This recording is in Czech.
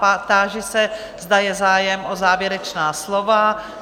Táži se, zda je zájem o závěrečná slova.